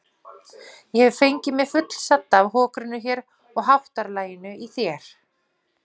Ég hef fengið mig fullsadda af hokrinu hér og háttalaginu í þér.